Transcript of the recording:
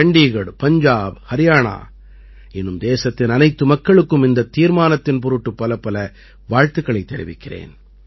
சண்டீகட் பஞ்ஜாப் ஹரியாணா இன்னும் தேசத்தின் அனைத்து மக்களுக்கும் இந்தத் தீர்மானத்தின் பொருட்டு பலப்பல வாழ்த்துக்களைத் தெரிவிக்கிறேன்